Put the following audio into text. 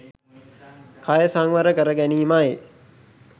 කය සංවර කර ගැනීමයි